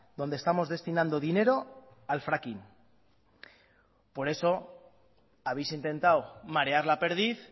donde estamos destinando dinero al fracking por eso habéis intentado marear la perdiz